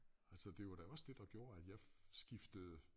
Altså det var da også det der gjorde at jeg skiftede